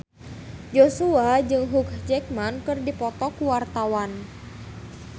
Joshua jeung Hugh Jackman keur dipoto ku wartawan